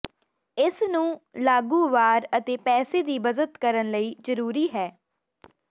ਇਸ ਨੂੰ ਲਾਗੂ ਵਾਰ ਅਤੇ ਪੈਸੇ ਦੀ ਬਚਤ ਕਰਨ ਲਈ ਜ਼ਰੂਰੀ ਹੈ